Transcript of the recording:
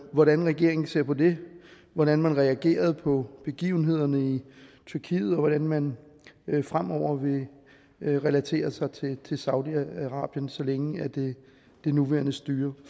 hvordan regeringen ser på det hvordan man reagerede på begivenhederne i tyrkiet og hvordan man fremover vil relatere sig til saudi arabien så længe det nuværende styre